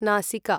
नासिका